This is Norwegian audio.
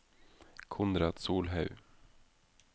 Konrad Solhaug